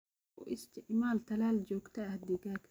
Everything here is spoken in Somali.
U isticmaal talaal joogto ah digaaga.